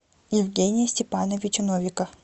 евгения степановича новика